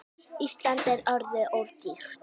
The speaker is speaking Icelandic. Ísland er orðið of dýrt.